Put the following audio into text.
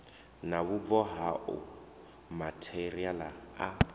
na vhubvo hao matheriaḽa a